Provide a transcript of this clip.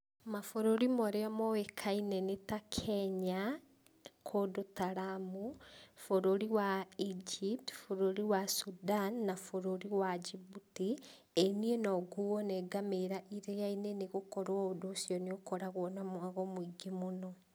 Mabũrũri marĩa moĩkaine nĩta Kenya kũndũ ta Lamu, bũrũri wa Egypt, bũrũri wa Sudan na bũrũri wa Djibouti. Ĩĩ niĩ nonguo nĩ ngamĩra iria-inĩ, nĩgũkorwo ũndũ ũcio nĩũkoragwo na mwago mũingĩ mũno.